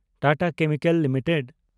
Tata Chemicals limited